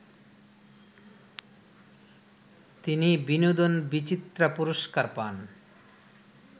তিনি বিনোদন বিচিত্রা পুরস্কার পান